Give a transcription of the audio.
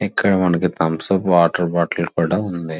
ఇక్కడ మనకి Thums up water bottle కూడా ఉంది.